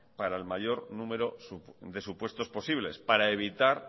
para el mayor número de supuestos posibles para evitar